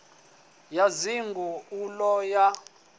ya dzinnḓu u ḓo ya